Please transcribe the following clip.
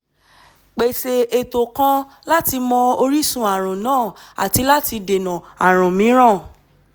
pèsè ètò kan láti mọ orísun ààrùn náà àti láti dènà ààrùn mìíràn